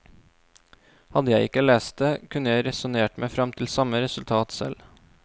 Hadde jeg ikke lest det, kunne jeg resonnert meg frem til samme resultat selv.